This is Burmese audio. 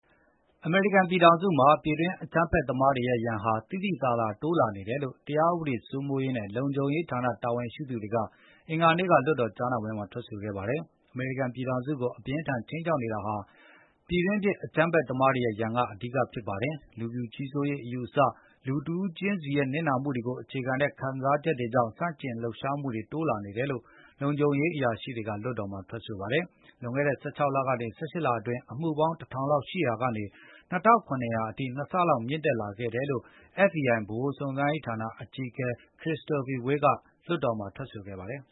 အမေရိကန်ပြည်ထောင်စုမှာ ပြည်တွင်းအကြမ်းဖက်သမားတွေရဲ့ရန်ဟာ သိသိသာသာတိုးလာနေတယ်လို့ တရားဥပဒေစိုးမိုးရေးနဲ့လုံခြုံရေး ဌာနတာဝန်ရှိသူတွေက အင်္ဂါနေ့က လွှတ်တော်ကြားနာပွဲမှာထွက်ဆိုခဲ့ပါတယ်။ အမေရိကန်ပြည်ထောင်စုကို အပြင်းအထန်ခြိမ်းခြောက်နေတာဟာ ပြည်တွင်ဖြစ်အကြမ်းဖက်သမားတွေရဲ့ရန်ကအဓိကဖြစ်ပါတယ်။ လူဖြူကြီးစိုးရေးအယူအဆတွေ၊ လူတဦးခြင်းစီရဲ့နစ်နာမှုတွေကိုအခြေခံတဲ့ခံစားချက်တွေကြောင့် ဆန့်ကျင်လှုပ်ရှားမှုတွေတိုးလာနေတယ်လို့ လုံခြုံရေးအရာရှိတွေက လွှတ်တော်မှာထွက်ဆိုခဲ့ပါတယ်။ လွန်ခဲ့တဲ့ ၁၆ လ ကနေ ၁၈ လအတွင်း အမှုပေါင်း ၁၀၀၀ လောက်ရှိရာကနေ ၂၇၀၀ အထိ၊ ၂ ဆလောက်မြင့်တက်ခဲ့တယ်လို့ FBI ဗဟိုစုံစမ်းစစ်ဆေးရေးဌာနအကြီးအကဲ Christopher Wray ကလွှတ်တော်မှာထွက်ဆိုပါတယ်